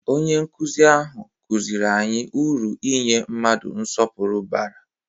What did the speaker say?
Onye nkuzi ahụ kụziri anyị uru inye mmadụ nsọpụrụ bara.